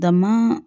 Dama